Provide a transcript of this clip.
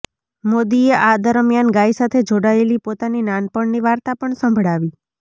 મોદીએ આ દરમ્યાન ગાય સાથે જોડાયેલી પોતાની નાનપણની વાર્તા પણ સંભળાવી